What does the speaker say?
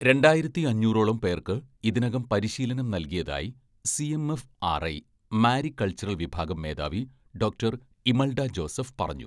രണ്ടായിരത്തിയഞ്ഞൂറോളം പേർക്ക് ഇതിനകം പരിശീലനം നൽകിയതായി സിഎംഎഫ്ആർഐ മാരികൾച്ചർ വിഭാഗം മേധാവി ഡോക്ടർ ഇമൽഡ ജോസഫ് പറഞ്ഞു.